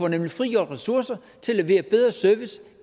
nemlig frigjort ressourcer til at levere bedre service